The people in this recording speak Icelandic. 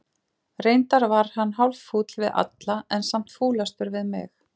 Reyndar var hann hálffúll við alla, en samt fúlastur við mig.